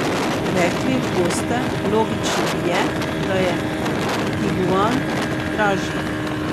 Rekli boste, logično je, da je tiguan dražji.